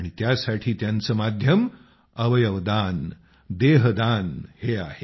आणि त्यासाठी त्यांचे माध्यम अवयवदान हे आहे